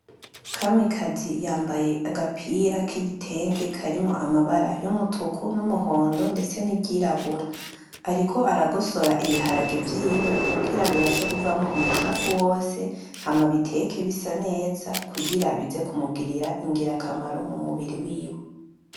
Kamikazi yambaye agapira kigitenge karimwo amabara y’umutuku, n'umuhondo ndetse n'iryirabura. Ariko aragosora ibiharage vyiwe kugira bibashe kuvamo umucafu wose hama abiteke bisaneza kugira bize kumugirira ingirakamaro mumubiri wiwe.